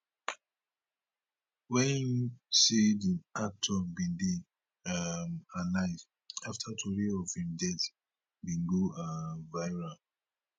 wey im say di actor bin dey um alive afta tori of im death bin go um viral